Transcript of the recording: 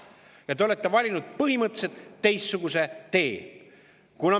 Aga te olete valinud põhimõtteliselt teistsuguse tee.